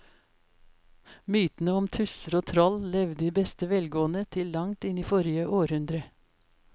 Mytene om tusser og troll levde i beste velgående til langt inn i forrige århundre.